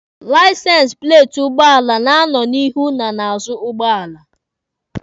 Laisensi pleeti ụgbọala na-anọ n'ihu na n'azụ ụgbọala.